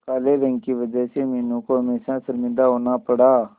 काले रंग की वजह से मीनू को हमेशा शर्मिंदा होना पड़ा